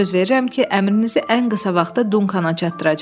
Söz verirəm ki, əmrinizi ən qısa vaxtda Dunkana çatdıracağam.